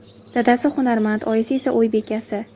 Dadasi hunarmand, oyisi esa uy bekasi.